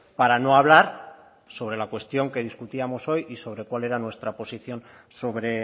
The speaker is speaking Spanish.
para no hablar sobre la cuestión que discutíamos hoy y sobre cuál era nuestra posición sobre